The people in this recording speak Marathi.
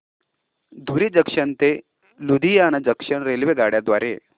धुरी जंक्शन ते लुधियाना जंक्शन रेल्वेगाड्यां द्वारे